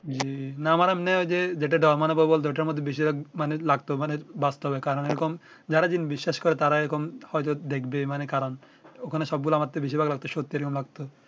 জ্বি না মানে এমনে ঐ যে যেটা ডোর মানে ভয় বলতে ওটার মধ্যে বেশির ভাগ মানে লাগতো মানে বাস্তবে কারণ এই রকম যারা জ্বিন বিশ্বাস করে তারা এই রকম হয়তো দেখবে মানে কারণ ঐ খানে সব গুলা আমার বেশির ভাগ সত্যি লাগতো